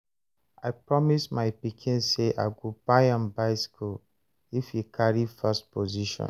I promise my pikin say I go buy am bicycle if he carry first position